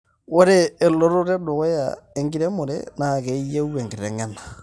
ore elototo edukuya enkiremore naa keyieu enkitengena